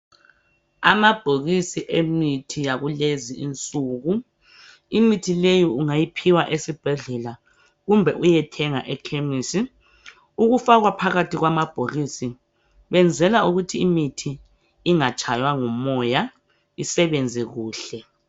Amabhokisi emithi yakulezinsuku imithileyi ungaiphiwa esibhehlela kumbe uyethenga ekhemesi ukafakwa phakathi kwamabokisi bayenzela ukuthi imithi ingatshaywa ngumoya isebenze kuhle.